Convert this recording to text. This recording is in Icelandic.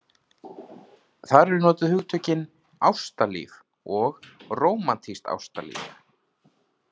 Þar eru notuð hugtökin ástalíf og rómantískt ástalíf.